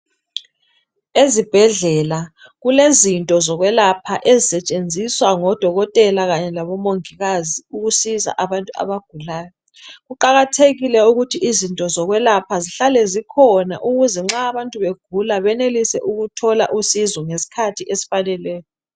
Ezibhedlela kulezinto zokwelapha ezisetshenziswa ngodokotela kanye labomongikazi ukusiza abantu abagulayo. Kuqakathekile ukuthi izinto zokwelapha zihlale zikhona ukuze nxa abantu begula benelise ukuthola usizo ngeskhathi esfaneleyo.